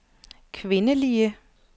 kvindelige